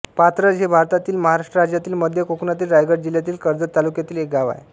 पाथरज हे भारतातील महाराष्ट्र राज्यातील मध्य कोकणातील रायगड जिल्ह्यातील कर्जत तालुक्यातील एक गाव आहे